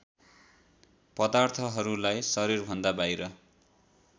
पदार्थहरूलाई शरीरभन्दा बाहिर